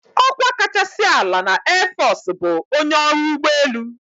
"Ọkwa kachasị ala na airforce bụ ""onye ọrụ ụgbọelu"""